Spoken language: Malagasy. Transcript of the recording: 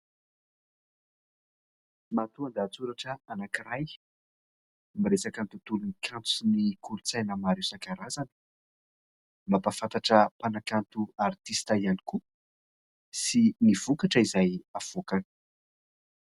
Matoan-dahatsoratra anankiray miresaka ny tontolon'ny kanto sy ny kolontsaina maro isan-karazany. Mampafantatra mpanankato "artiste" ihany koa sy ny vokatra izay avoakany.